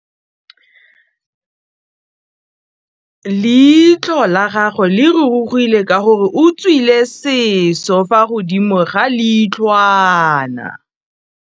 Leitlhô la gagwe le rurugile ka gore o tswile sisô fa godimo ga leitlhwana.